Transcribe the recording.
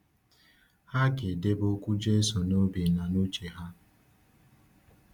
Ha ga-edebe okwu Jésù n’obi na n’uche ha.